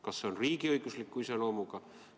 Kas see on riigiõigusliku iseloomuga?